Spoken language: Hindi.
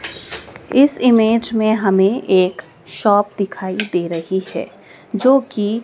इस इमेज़ में हमें एक शॉप दिखाई दे रही है जो कि--